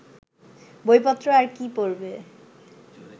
বইপত্র আর কি পড়বে